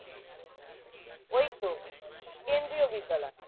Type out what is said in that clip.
ওইতো কেন্দ্রীয় বিদ্যালয়